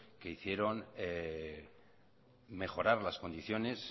que hicieron mejorar las condiciones